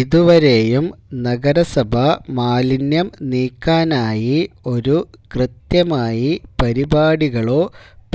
ഇതുവരെയും നഗരസഭ മാലിന്യം നീക്കാനായി ഒരു കൃത്യമായി പരിപാടികളോ